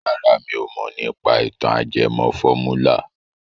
Rárá mi ò mọ̀ nípa ìtàn ajẹmọ fọ́múlà.